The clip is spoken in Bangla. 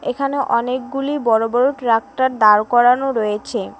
এখানে অনেকগুলি বড় বড় ট্রাক্টর দাঁড় করানো রয়েছে।